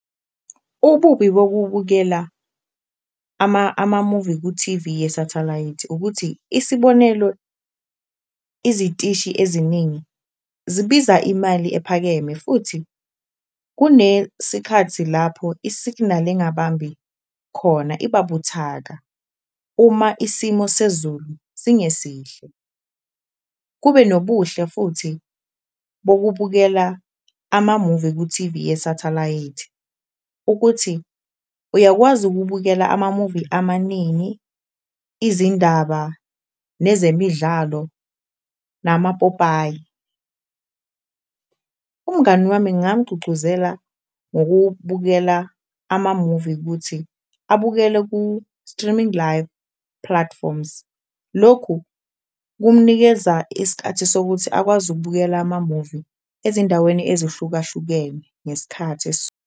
Ububi bokubukela amamuvi ku-T_V yesathalayithi ukuthi isibonelo, izitishi eziningi zibiza imali ephakeme futhi kunesikhathi lapho isiginali engabambi khona iba buthaka, uma isimo sezulu singesihle. Kube nobuhle futhi bokubukela amamuvi ku-T_V yesathalayithi ukuthi uyakwazi ukubukela amamuvi amaningi, izindaba nezemidlalo, namapopayi. Umngani wami ngamgcugcuzela ngokubukela amamuvi kuthi abukele ku-streaming live platforms, lokhu kumnikeza iskathi sokuthi akwazi ukubukela amamuvi ezindaweni ezihlukahlukene ngeskhathi .